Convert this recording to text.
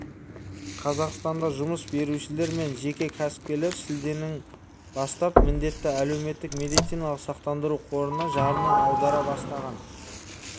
қазақстанда жұмыс берушілер мен жеке кәсіпкерлер шілденің бастап міндетті әлеуметтік медициналық сақтандыру қорына жарна аудара бастаған